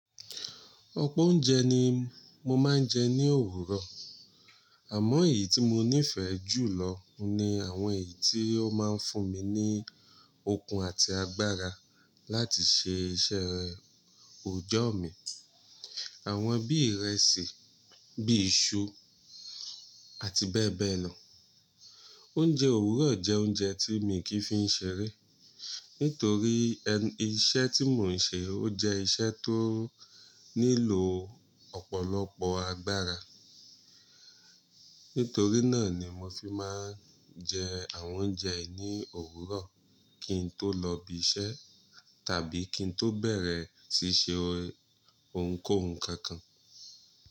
Ọpọ oúnjẹ ni mo máa ń jẹ ní òwúrọ̀. Àmọ́ èyí tí mo nífẹ̀ẹ́ jù lọ oun ni àwọn èyí tó máa ń fún mi ní okun àti agbára láti ṣe iṣẹ́ òòjọ́ mi. Àwọn bí ìrẹsì, bíi iṣu àti bẹ́ẹ̀ bẹ́ẹ̀ lọ. Oúnjẹ òwúrọ̀ jẹ́ oúnjẹ tí mi i kì n fi n ṣeré. Nítorí iṣẹ́ tí mò ń ṣe ó jẹ́ iṣẹ́ tó nílò ọ̀pọ̀lọpọ̀ agbára. Nítorí náà ni mo fi máa ń jẹ àwọn oúnjẹ yìí ní òwúrọ̀ kí n tó lọbi iṣẹ́ tàbí kí n tó bẹ̀rẹ̀ sí ṣe ohunkóhun kankan.